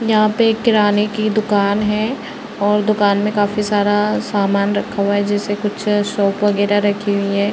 यहा पे एक किराने की दुकान है और दुकान में काफी सारा सामान रखा हुआ है जैसे कुछ सोप वगैरा रखी हुई है।